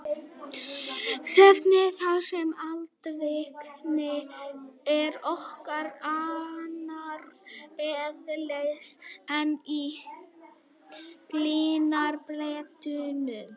Snæfellsnesi þar sem eldvirkni er nokkuð annars eðlis en í gliðnunarbeltunum.